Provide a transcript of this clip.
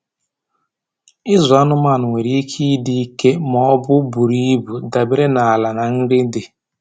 Ịzụ anụmanụ nwere ike ịdị ike ma ọ bụ buru ibu, dabere na ala na nri dị.